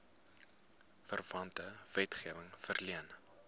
verwante wetgewing verleen